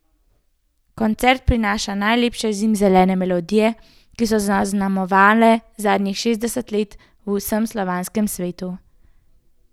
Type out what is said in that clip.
Koncert prinaša najlepše zimzelene melodije, ki so zaznamovale zadnjih šestdeset let v vsem slovanskem svetu.